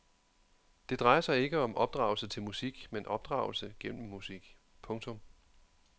Det drejer sig ikke om opdragelse til musik men opdragelse gennem musik. punktum